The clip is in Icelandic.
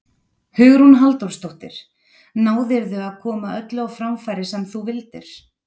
Hugrún Halldórsdóttir: Náðirðu að koma öllu á framfæri sem þú vildir?